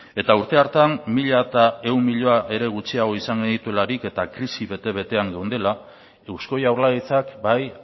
urte hartan mila ehun milioi gutxiago izan genituelarik eta krisi bete betean geundela eusko jaurlaritzak